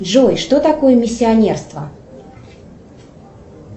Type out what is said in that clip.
джой что такое миссионерство